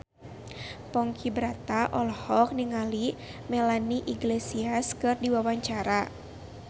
Ponky Brata olohok ningali Melanie Iglesias keur diwawancara